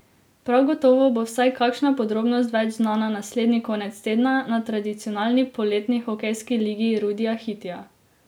Prav gotovo bo vsaj kakšna podrobnost več znana naslednji konec tedna na tradicionalni poletni hokejski ligi Rudija Hitija.